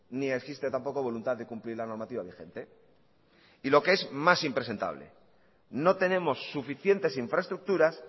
ni existe tampoco voluntad de cumplir la normativa vigente y lo que es más impresentable no tenemos suficientes infraestructuras